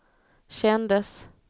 kändes